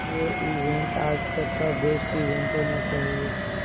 ये इवेंट आज तक का बेस्ट इवेंट होना चाहिए